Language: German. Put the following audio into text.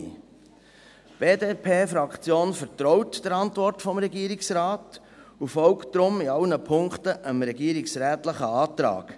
Die BDP-Fraktion vertraut der Antwort des Regierungsrates und folgt daher in allen Punkten dem regierungsrätlichen Antrag.